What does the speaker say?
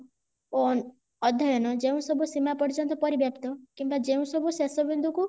ଓ ଅଧ୍ୟୟନ ଯେଉଁ ସବୁ ସୀମା ପର୍ଯ୍ୟନ୍ତ ପରିବ୍ୟାପ୍ତ କିମ୍ବା ଯେଉଁ ସବୁ ସେସ ବିନ୍ଦୁ କୁ